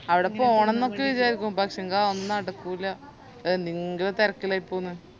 അവിടെ പോണംന്നൊക്കെ വിചാരിക്കും പക്ഷേങ്കി അതൊന്നും നടക്കൂല ന്തെങ്കിലും തെരക്കിലായിപ്പോകും ഞാൻ